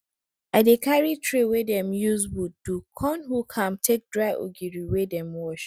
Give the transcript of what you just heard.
i dey carry tray wey dem use wood do con hook am take dry ogiri wey dem wash